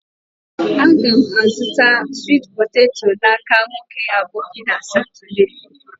a ga m azutara sweet poteto n'aka nwoke aboki na Saturday.